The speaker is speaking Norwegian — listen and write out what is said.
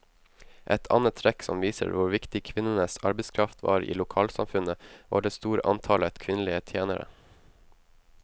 Et annet trekk som viser hvor viktig kvinnenes arbeidskraft var i lokalsamfunnet, var det store antallet kvinnelige tjenere.